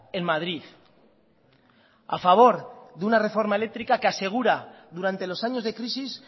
en madrid a favor de una reforma eléctrica que asegura durante los años de crisis